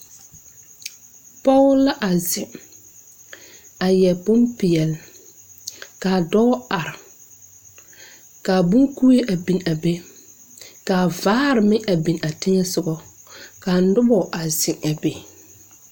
Pɔge la a zeŋ a yɛre bonpeɛle kaa dɔɔ are kaa bon kuee a bin a be kaa vaare maŋ a bin a teŋɛsugɔ kaa nobɔ a zeŋ a be.